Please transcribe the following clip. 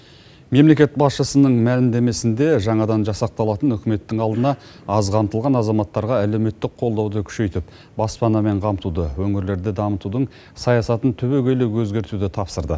мемлекет басшысының мәлімдемесінде жаңадан жасақталатын үкіметтің алдына аз қамтылған азаматтарға әлеуметтік қолдауды күшейтіп баспанамен қамтуды өңірлерді дамытудың саясатын түбегейлі өзгертуді тапсырды